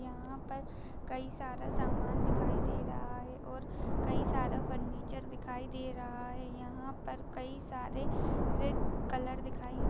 यहाँ पर कई सारा समान दिखाई दे रहा है और कई सारा फर्निचर दिखाई दे रहा है यहाँ पर कई सारे वे कलर दिखाई --